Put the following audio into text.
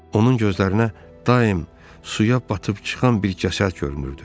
Onun gözlərinə daim suya batıb çıxan bir gəmi görümürdü.